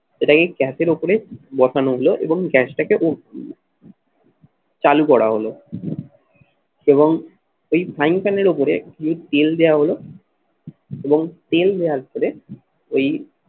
সেটাকে গ্যাসের ওপরে বসানো হলো এবং গ্যাসটাকে চালু করা হলো এবং এই frying pan এর উপরে তেল দেওয়া হলো এবং তেল দেওয়ার পরে ঐ